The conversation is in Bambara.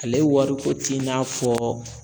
Ale wariko t'i n'a fɔ